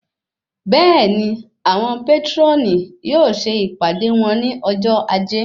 Bẹẹni, àwọn patroni yóò ṣe ìpàdé wón ní ọjọ ajé.